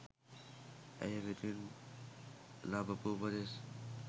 ඇය වෙතින් ලබපු උපදෙස්